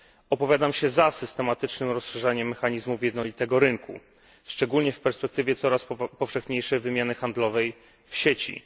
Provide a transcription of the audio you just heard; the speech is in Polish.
Opowiadam się za systematycznym rozszerzaniem mechanizmów jednolitego rynku, szczególnie w perspektywie coraz powszechniejszej wymiany handlowej w sieci.